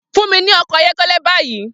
Fun mi ni ọkọ ayọkẹlẹ bayi!